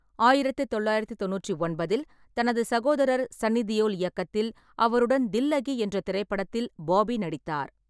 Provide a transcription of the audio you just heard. ஆயிரத்து தொள்ளாயிரத்து தொண்ணூற்றி ஒன்பதில், தனது சகோதரர் சன்னி தியோல் இயக்கத்தில் அவருடன் தில்லகி என்ற திரைப்படத்தில் பாபி நடித்தார்.